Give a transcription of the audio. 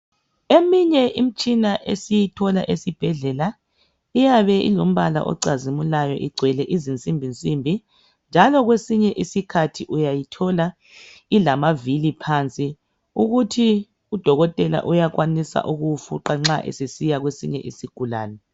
Eminye imitshina esiyithola esibhedlela iyabe ilombala ocazimulayo igcwele izinsimbi nsimbi .Njalo kwesinye isikhathi uyayithola ilamavili phansi ukuthi udokotela uyakwanisa ukuwu fuqa nxa esesiya kwesinye isigulane.